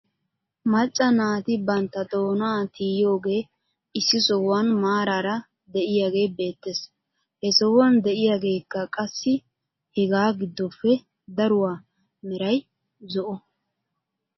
Macca naati bantta doonaa tiyiyoogee issi sohuwan maaraara de'iyaagee beettes. He sohuwan de'iyaageekka qassi hegaa giddoppe daruwaa meray zo'o .